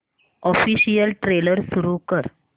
official trailer सुरू कर